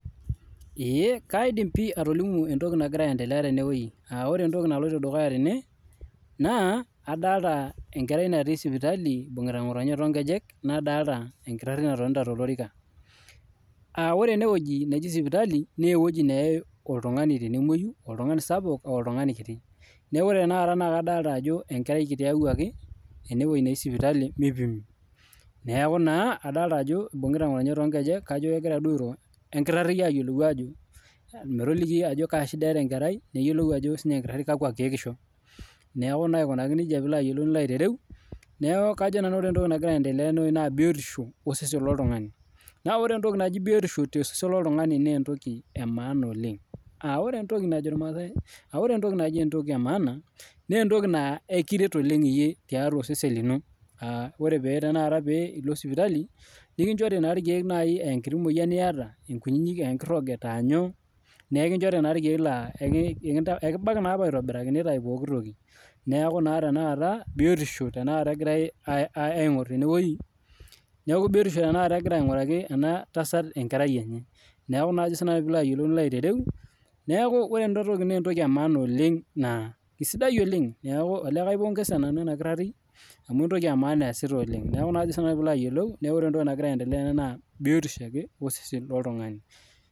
eeh kaidim doi atolomu entoki naloito dukuya tena aa ore entoki naloito dukuya naa entasat naibungita enkerai toonkejek natii sipitali nadoolta enkitari natonita tolorika, ore enewueji neji sipitali naa ewueji neyae oltungani tenemoyu aa oltungani sapuk arashu orkiti neeku ore tenakata naa kado ajo enkerai kiti eyawuaki , adol ajo ibungita ngotonye toonkejek kajo kegira aliki enkitari eneya. Neeku naa ore piilo ayiolou kajo biotisho osesen loltungani oloito dukuya. Ore biotisho oltungani naa entoki e maana oleng naa ekiret ooleng tiatua osesen lino , naa ina paa ore piilo sipitali nikinchore irkeek peeshuku biotisho. Neeku ore tenewueji naa kengira entasat ainguraki enkerai enye biotisho. Neeku naa entoki e maana oleng ena naa kaipongesa nanu ena kitari amuu entoki e maana eesita ooleng. Neeku ore entoki nagira aendelea naa biotisho osesen loltungani